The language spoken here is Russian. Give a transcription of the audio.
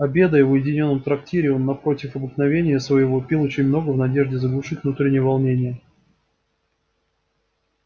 обедая в уединённом трактире он напротив обыкновения своего пил очень много в надежде заглушить внутреннее волнение